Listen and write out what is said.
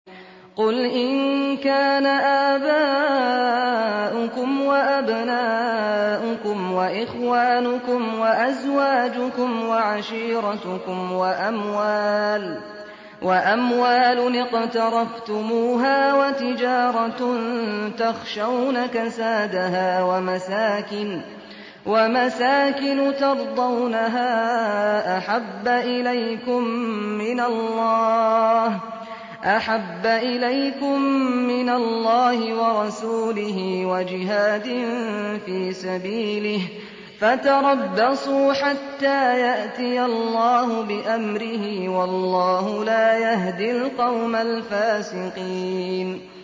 قُلْ إِن كَانَ آبَاؤُكُمْ وَأَبْنَاؤُكُمْ وَإِخْوَانُكُمْ وَأَزْوَاجُكُمْ وَعَشِيرَتُكُمْ وَأَمْوَالٌ اقْتَرَفْتُمُوهَا وَتِجَارَةٌ تَخْشَوْنَ كَسَادَهَا وَمَسَاكِنُ تَرْضَوْنَهَا أَحَبَّ إِلَيْكُم مِّنَ اللَّهِ وَرَسُولِهِ وَجِهَادٍ فِي سَبِيلِهِ فَتَرَبَّصُوا حَتَّىٰ يَأْتِيَ اللَّهُ بِأَمْرِهِ ۗ وَاللَّهُ لَا يَهْدِي الْقَوْمَ الْفَاسِقِينَ